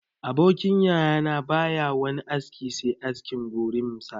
Abokin yaya na ba ya wani aski se askin gorimfa